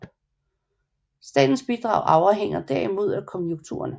Statens bidrag afhænger derimod af konjunkturerne